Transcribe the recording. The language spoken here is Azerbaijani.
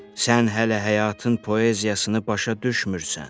Sən hələ həyatın poeziyasını başa düşmürsən.